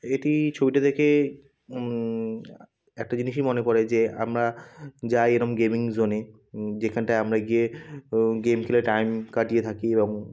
এটি-ই ছবিটা দেখে-এ উম আ একটা জিনিসই মনে পরে যে আমরা যাই এরকম গেমিং জোন -এ উম যেখানটায় আমরা গিয়ে গেম খেলে টাইম কাটিয়ে থাকি এবং।